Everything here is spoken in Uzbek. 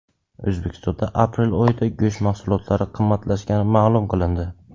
O‘zbekistonda aprel oyida go‘sht mahsulotlari qimmatlashgani ma’lum qilindi.